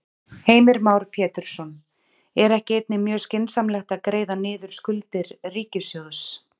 Heimir Már Pétursson: Er ekki einnig mjög skynsamlegt að greiða niður skuldir ríkissjóðs?